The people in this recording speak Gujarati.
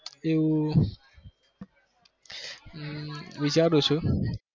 એવું હમ વિચારું છુ.